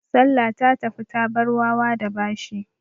Salla ta tafi ta bar wawa da bashi.